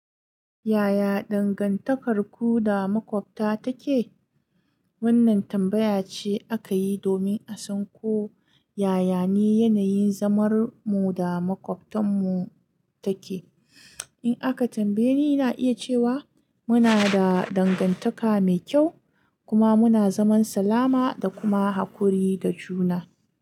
Yaya dangantakarku da maƙwabta take? Wannan tambaya ce aka yi domin a san ko yaya ne yanayin zamarmu da maƙwabtanmu take. In aka tambaye ni, na iya cewa muna da dangantaka mai kyau kuma muna zaman salama da kuma haƙuri da juna.